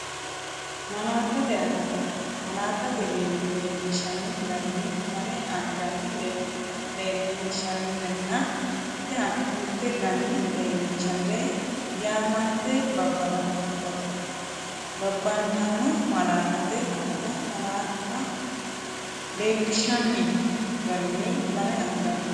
Malaattate Akata Malaatta leellinshanni garinni lame anganni leellinshannirenna mitte ganni leellinshannire yaamante babantanno Malaattate Akata Malaatta leellinshanni garinni lame anganni.